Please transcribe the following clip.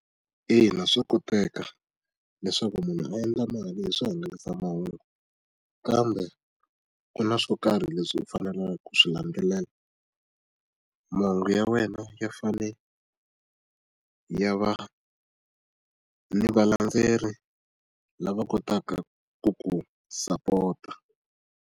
Ina, swa koteka leswaku munhu a endla mali hi swihangalasamahungu, kambe ku na swo karhi leswi u faneleke ku swi landzelela. Mahungu ya wena ya fanele ya va ni valandzeri lava kotaka ku ku support-ta.